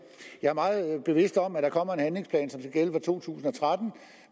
jeg er meget bevidst om at der kommer en handlingsplan gælde for to tusind og tretten